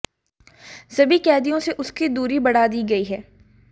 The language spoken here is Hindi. सभी कैदियों से उसकी दूरी बढ़ा दी गई है